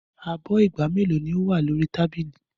Abọ́ ìgb mélòó ni ó wà ní orí tábìlì?